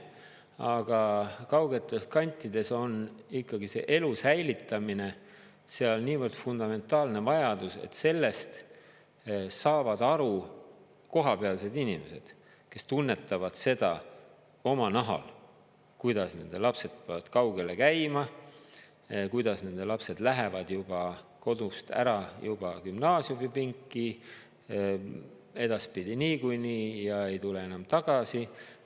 Aga kaugetes kantides on ikkagi see elu säilitamine seal niivõrd fundamentaalne vajadus, et sellest saavad aru kohapealsed inimesed, kes tunnetavad seda oma nahal, kuidas nende lapsed peavad kaugele käima, kuidas nende lapsed lähevad juba kodust ära juba gümnaasiumipinki, edaspidi niikuinii, ja ei tule enam tagasi.